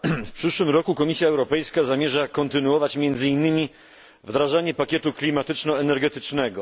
W przyszłym roku Komisja Europejska zamierza kontynuować między innymi wdrażanie pakietu klimatyczno energetycznego.